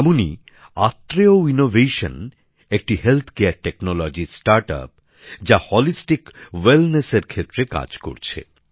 এমনই আত্রেয় ইনোভেশন একটি স্বাস্থ্য ক্ষেত্রের প্রযুক্তি সংক্রান্ত স্টার্ট আপ যা সর্বাঙ্গীণ সুস্থতার জন্য কাজ করছে